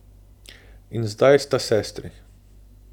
In zdaj sta sestri.